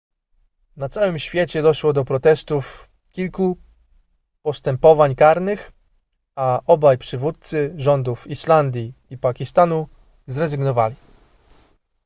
na całym świecie doszło do protestów kilku postępowań karnych a obaj przywódcy rządów islandii i pakistanu zrezygnowali